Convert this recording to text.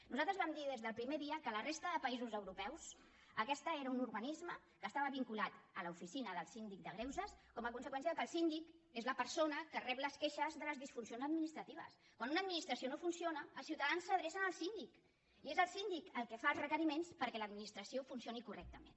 nosaltres vam dir des del primer dia que a la resta de països europeus aquest era un organisme que estava vinculat a l’oficina del síndic de greuges com a conseqüència que el síndic és la persona que rep les queixes de les disfuncions administratives quan una administració no funciona els ciutadans s’adrecen al síndic i és el síndic el que fa els requeriments perquè l’administració funcioni correctament